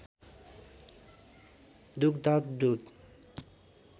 दुग्ध दूध